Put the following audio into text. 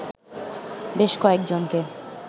বেশ কয়েকজনকে